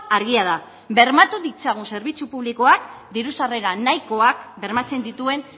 argia da bermatu ditzagun zerbitzu publikoak diru sarrera nahikoak bermatzen dituen